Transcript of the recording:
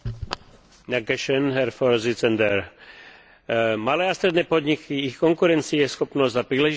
Malé a stredné podniky, ich konkurencieschopnosť a príležitosti na podnikanie to je téma dnešných dní.